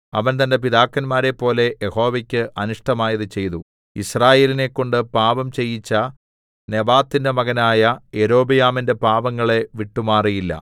അവൻ തന്റെ പിതാക്കന്മാരെപ്പോലെ യഹോവയ്ക്ക് അനിഷ്ടമായത് ചെയ്തു യിസ്രായേലിനെക്കൊണ്ട് പാപം ചെയ്യിച്ച നെബാത്തിന്റെ മകനായ യൊരോബെയാമിന്റെ പാപങ്ങളെ വിട്ടുമാറിയില്ല